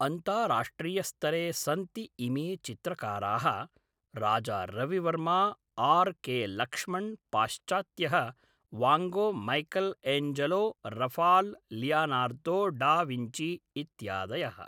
अन्ताराष्ट्रीयस्तरे सन्ति इमे चित्रकाराः राजारविवर्मा आर् के लक्ष्मण् पाश्चात्यः van Gogh Michelangelo Raphael Leonardo da Vinci इत्यादयः